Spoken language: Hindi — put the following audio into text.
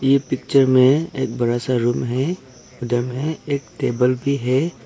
ये पिक्चर में एक बड़ा सा रूम है उधर में एक टेबल भी है।